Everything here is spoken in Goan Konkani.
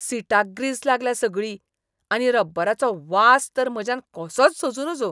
सीटाक ग्रीस लागल्या सगळी, आनी रब्बराचो वास तर म्हज्यान कसोच सोंसूं नजो.